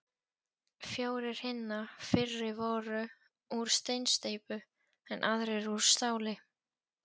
Fjórir hinna fyrri voru úr steinsteypu, en aðrir úr stáli.